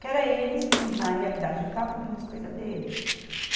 Que era eles que, na realidade, a gente estava comprando as coisas deles.